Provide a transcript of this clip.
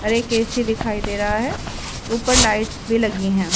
और एक ए_सी दिखाई दे रहा है ऊपर लाइट्स भी लगी हैं।